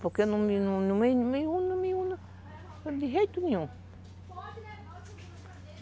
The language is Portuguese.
Porque eu não me uno não me uno de jeito nenhum.